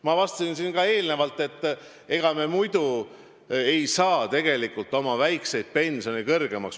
Ma ütlesin siin juba enne ka, et ega me muidu ei saa oma väikseid pensione kõrgemaks.